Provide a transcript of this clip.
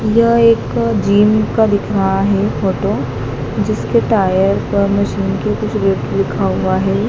यह एक जिम का दिख रहा है फोटो जिसके टायर पर मशीन के कुछ रेट लिखा हुआ है।